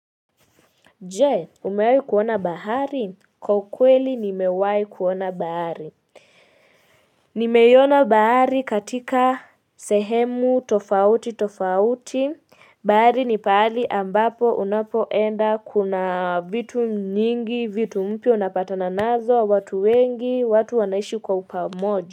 Jee umewahi kuona bahari? Kwa ukweli nimewahi kuona bahari. Nimeiona bahari katika sehemu tofauti tofauti bahari ni pahali ambapo unapoenda kuna vitu nyingi vitu mpya unapatana nazo watu wengi watu wanaishi kwa upamoja.